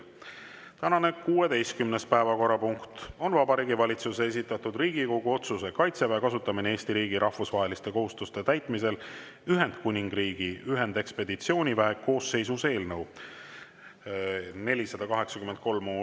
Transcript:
Tänane 16. päevakorrapunkt on Vabariigi Valitsuse esitatud Riigikogu otsuse "Kaitseväe kasutamine Eesti riigi rahvusvaheliste kohustuste täitmisel Ühendkuningriigi ühendekspeditsiooniväe koosseisus" eelnõu 483.